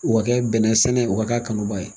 U ka kɛ bɛnɛ sɛnɛ, u ka k'a kanubaa ye.